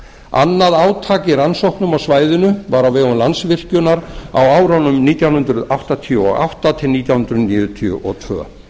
annað átak í rannsóknum á svæðinu var á vegum landsvirkjunar á árunum nítján hundruð áttatíu og átta til nítján hundruð níutíu og tvö